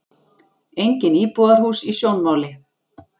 Engin íbúðarhús í sjónmáli.